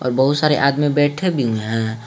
और बहुत सारे आदमी बैठे भी हुए है।